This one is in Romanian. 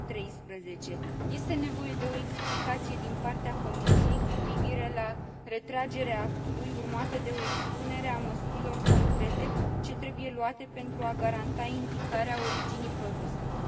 2013. Este nevoie de o explicație din partea Comisiei cu privire la retragerea actului, urmată de o expunere a măsurilor concrete ce trebuie luate pentru a garanta indicarea originii produselor.